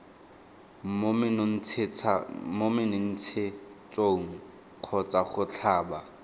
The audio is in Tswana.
mo menontshetsong kgotsa go tlhaba